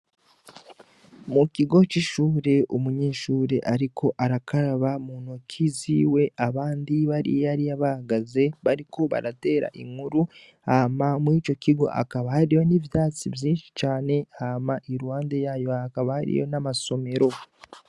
Mu kigo ci shure umunyeshuri ariko arakaraba mu ntoki ziwe abandi bari hariya bahagaze bariko baratera inkuru hama murico kigo hakaba hari n'ivyatsi vyishi cane hama iruhande yayo hakaba hari n'amasomero